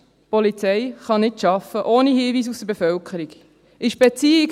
Die Polizei kann ohne Hinweise aus der Bevölkerung nicht arbeiten.